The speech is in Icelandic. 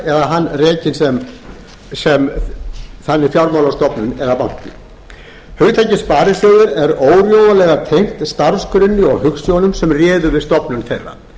eða hann rekinn sem fjármálastofnun eða banki hugtakið sparisjóður er órjúfanlega tengt starfsgrunni og hugsjónum sem réðu við stofnun þeirra